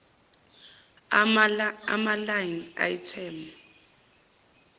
ama line item